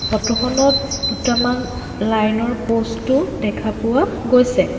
Photo খনত দুটামান line ৰ প'ষ্ট ও দেখা পোৱা গৈছে।